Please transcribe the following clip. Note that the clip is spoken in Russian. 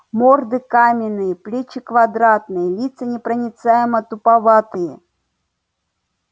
морды каменные плечи квадратные лица непроницаемо-туповатые